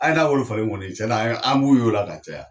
A ye n na wari falen kɔni cɛn na an b'u ye o la ka caya.